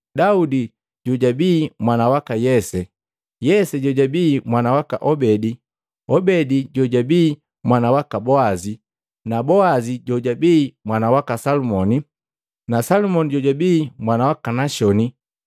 Daudi Jojabi mwana waka Yese, Yese jojabii mwana waka Obedi, Obedi jojabii mwana waka Boazi, Boazi jojabii mwana waka Salumoni, Salumoni jojabii mwana waka Nashoni,